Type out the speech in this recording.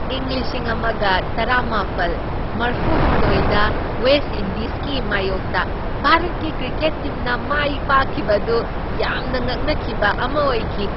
ꯏꯪ ꯂꯤꯁꯤꯡ ꯑꯃꯒ ꯇꯔꯥꯃꯥꯄꯜ ꯃꯔꯐꯨꯍꯨꯝꯗꯣꯢꯗ ꯋꯦꯁ ꯏꯟꯗꯤꯖꯀꯤ ꯃꯥꯢꯌꯣꯛꯇ ꯚꯥꯔꯠꯀꯤ ꯀ꯭ꯔꯤꯀꯦꯠ ꯇꯤꯝꯅ ꯃꯥꯏꯄꯥꯛꯈꯤꯕ ꯑꯗꯨ ꯌꯥꯝꯅ ꯉꯛꯅꯈꯤꯕ ꯑꯃ ꯑꯣꯏꯈꯤ!